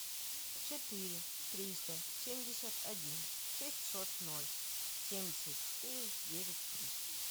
четыре триста семьдесят один шестьсот ноль семьдесят четыре девять три